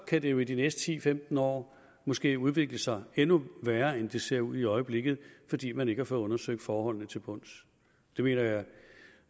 kan det jo i de næste ti til femten år måske udvikle sig endnu værre end det ser ud i øjeblikket fordi man ikke har fået undersøgt forholdene til bunds det mener jeg